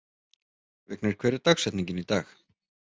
Vignir, hver er dagsetningin í dag?